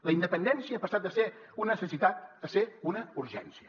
la independència ha passat de ser una necessitat a ser una urgència